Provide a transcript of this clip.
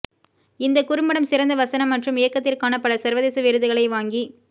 இந்த குறும்படம் சிறந்த வசனம் மற்றும் இயக்கத்திற்கான பல சர்வதேச விருதுகளை வாங்கி